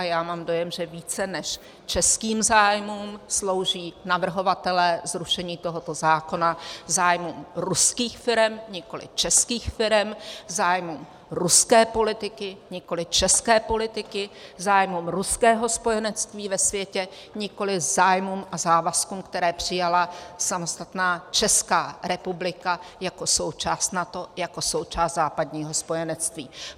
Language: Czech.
A já mám dojem, že více než českým zájmům slouží navrhovatelé zrušení tohoto zákona zájmům ruských firem, nikoliv českých firem, zájmům ruské politiky, nikoliv české politiky, zájmům ruského spojenectví ve světě, nikoliv zájmům a závazkům, které přijala samostatná Česká republika jako součást NATO, jako součást západního spojenectví.